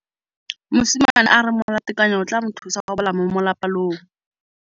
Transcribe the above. Mosimane a re molatekanyô o tla mo thusa go bala mo molapalong.